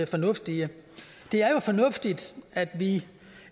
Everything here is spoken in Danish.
fornuftige det er jo fornuftigt at vi